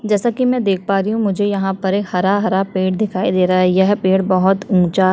जैसा कि मैं देख पा रही हूँ मुझे यहाँ पर एक हरा-हरा पेड़ दिखाई दे रहा है यह पेड़ बहुत ऊँचा --